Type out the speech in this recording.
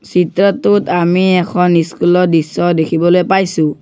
চিত্ৰটোত আমি এখন স্কুল ৰ দৃশ্য দেখিবলৈ পাইছোঁ।